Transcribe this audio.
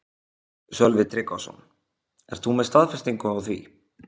Sölvi Tryggvason: Ert þú með staðfestingu á því?